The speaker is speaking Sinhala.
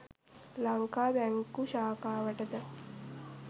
ලංකා බැංකු ශාඛාවට ද